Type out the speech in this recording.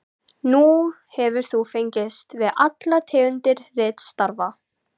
Nú hefur þú fengist við allar tegundir ritstarfa.